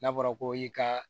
N'a fɔra ko i ka